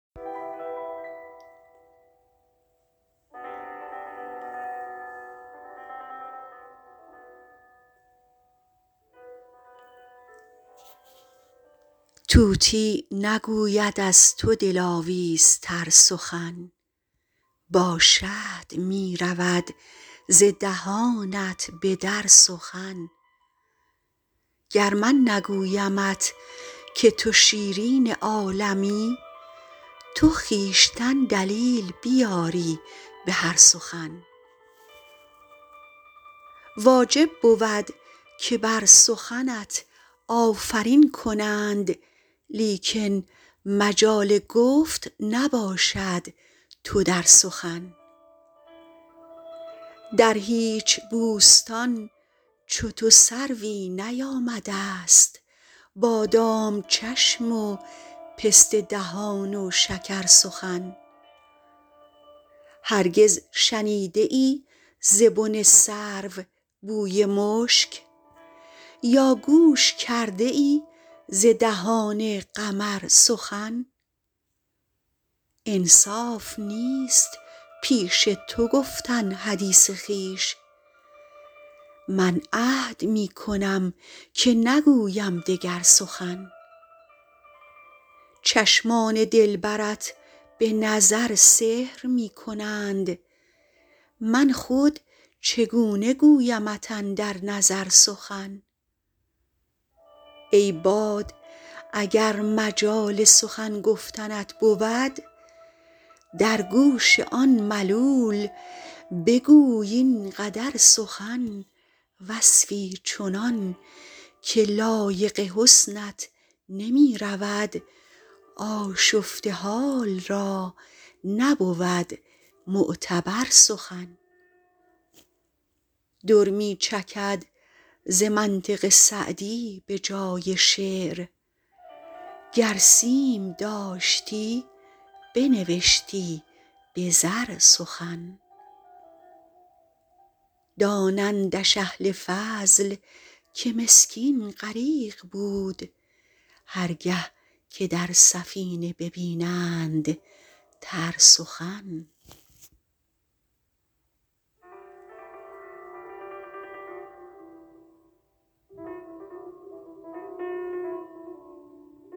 طوطی نگوید از تو دلاویزتر سخن با شهد می رود ز دهانت به در سخن گر من نگویمت که تو شیرین عالمی تو خویشتن دلیل بیاری به هر سخن واجب بود که بر سخنت آفرین کنند لیکن مجال گفت نباشد تو در سخن در هیچ بوستان چو تو سروی نیامده ست بادام چشم و پسته دهان و شکرسخن هرگز شنیده ای ز بن سرو بوی مشک یا گوش کرده ای ز دهان قمر سخن انصاف نیست پیش تو گفتن حدیث خویش من عهد می کنم که نگویم دگر سخن چشمان دلبرت به نظر سحر می کنند من خود چگونه گویمت اندر نظر سخن ای باد اگر مجال سخن گفتنت بود در گوش آن ملول بگوی این قدر سخن وصفی چنان که لایق حسنت نمی رود آشفته حال را نبود معتبر سخن در می چکد ز منطق سعدی به جای شعر گر سیم داشتی بنوشتی به زر سخن دانندش اهل فضل که مسکین غریق بود هر گه که در سفینه ببینند تر سخن